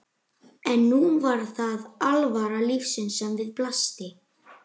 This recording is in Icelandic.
En nú var það alvara lífsins sem við blasti.